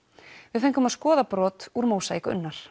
við fengum að skoða brot úr mósaík Unnar